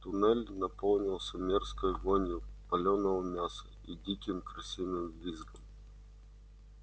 туннель наполнился мерзкой вонью палёного мяса и диким крысиным визгом